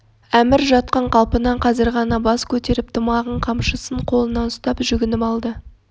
әмір жатқан қалпынан қазір ғана бас көтеріп тымағын қамшысын қолына ұстап жүгініп алды